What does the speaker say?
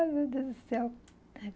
Ai, meu Deus do céu.